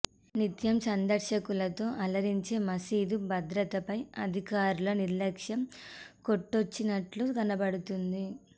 నిత్యం సందర్శకులతో ఆలరించే మసీదు భద్రతపై అధికారుల నిర్లక్ష్యం కొట్టొచ్చినట్టు కనబదుతోంది